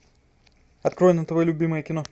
открой на тв любимое кино